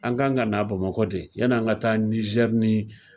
An ga gan ka na Bamakɔ de yann'an ka taa